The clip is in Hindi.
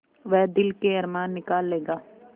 वह दिल के अरमान निकाल लेगा